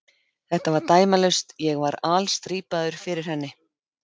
Þetta var dæmalaust, ég var alstrípaður fyrir henni.